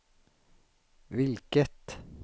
vilket